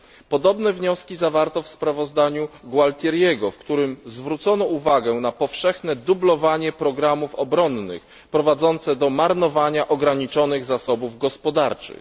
Podobne wnioski zawarto w sprawozdaniu Gualtieriego, w którym zwrócono uwagę na powszechne dublowanie programów obronnych, prowadzące do marnowania ograniczonych zasobów gospodarczych.